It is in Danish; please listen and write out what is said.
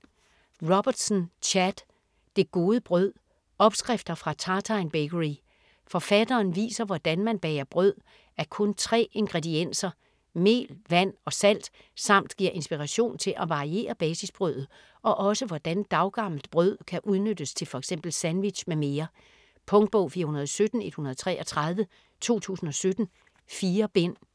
Robertson, Chad: Det gode brød: opskrifter fra Tartine Bakery Forfatteren viser hvordan man bager brød af kun tre ingredienser: mel, vand og salt samt giver inspiration til at variere basisbrødet og også hvordan daggammelt brød kan udnyttes til f.eks. sandwich m.m. Punktbog 417133 2017. 4 bind.